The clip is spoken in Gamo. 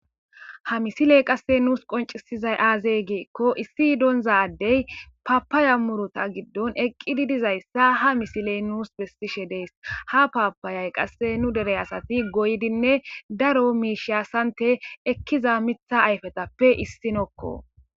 Ha misiley qase nuusi qoncisizay aaze gikon issi dinza Adey papaya muruta giddon Eqid dizaysa ha misiley nuusi besishe Desi. Ha papayay qase nu dere asati goyidi daro misha sante ekiza katha ayfetappe issinoko.